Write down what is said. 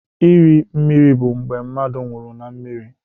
Iri mmiri bụ mgbe mmadụ nwụrụ na mmiri.